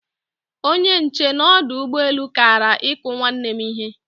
Onye nche n'odu ugboelu Kara iku nwanne m ihe